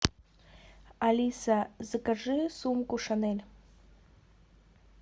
алиса закажи сумку шанель